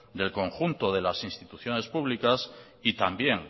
del conjunto de las instituciones públicas y también